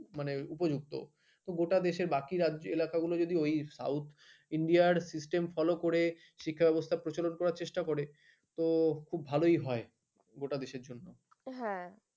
মানে উপযুক্ত গোটা দেশের বাকি রাজ্যে এলাকা গুলো যদি south india system ফলো করে শিক্ষা ব্যবস্থার প্রচলন করা চেষ্টা করে তো ভালোই হয় গোটা দেশের জন্য। হ্যাঁ